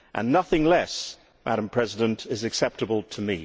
Nothing less, Madam President, is acceptable to